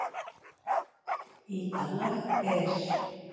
Í dag er